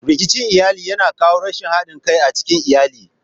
Rikicin iyali yana kawo rashin haɗin kai a cikin iyali.